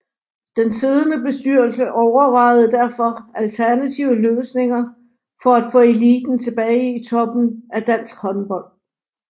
Den siddende bestyrelse overvejede derfor alternative løsninger for at få eliten tilbage i toppen af dansk håndbold